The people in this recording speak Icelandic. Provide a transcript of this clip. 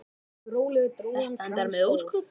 Þetta endar með ósköpum.